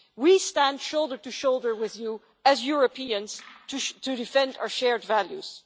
We stand shoulder to shoulder with you as Europeans to defend our shared values.